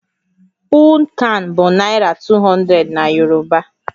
Puunkan bụ Naira 200 na Yoruba